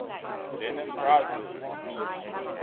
lenin prize winners